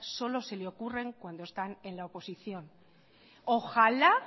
solo se le ocurren cuando están en la oposición isiltasuna ojalá